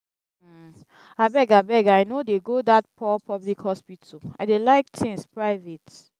abeg abeg i no dey go dat poor public hospital i dey like things private.